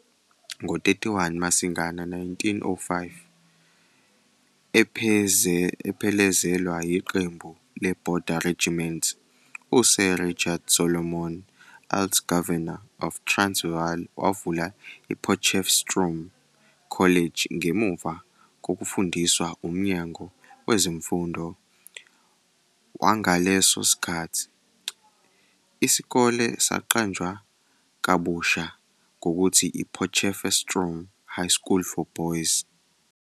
Ngo-31 Masingana 1905, ephelezelwa yiqembu leBorder Regiment, uSir Richard Solomon, uLt-Governor of Transvaal wavula iPotchefstroom College ngemuva kokufundiswa uMnyango Wezemfundo wangaleso sikhathi, isikole saqanjwa kabusha ngokuthi iPotchefestroom High School for Boys.